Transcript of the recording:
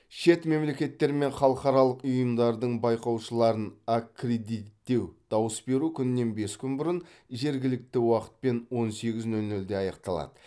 шет мемлекеттер мен халықаралық ұйымдардың байқаушыларын аккредиттеу дауыс беру күнінен бес күн бұрын жергілікті уақытпен он сегіз нөл нөлде аяқталады